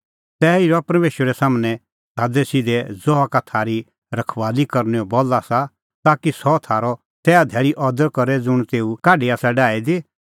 तैही रहा परमेशरा सम्हनै सादैसिधै ज़हा का थारी रखबाली करनैओ बल आसा ताकि सह थारअ तैहा धैल़ी अदर करे ज़ुंण तेऊ काढी आसा डाही दी